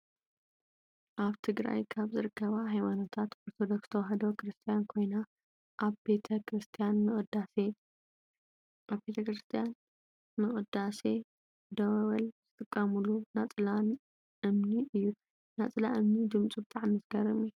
ኣብ ትግራይ ካብ ዝርከባ ሃይማኖታት ኦርቶዶክስ ተዋህዶ ክርስትያን ኮይና፣ ኣብ ቤተ-ክርስትያን ንቅዳሴ ደወል ዝጥቀሙሉ ናፅላ እምኒ እዩ። ናፅላ እምኒ ድምፁ ብጣዕሚ ዝገርም እዩ።